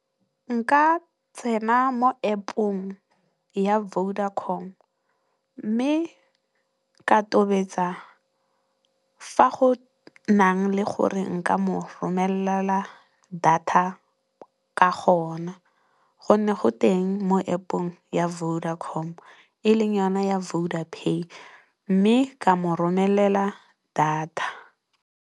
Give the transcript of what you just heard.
Nka tsena mo App-ong ya Vodacom mme, ka tobetsa fa go nang le gore nka mo romelela data ka gona gonne, go teng mo App-ong ya Vodacom e leng yona ya Vodapay mme, ka mo romelela data.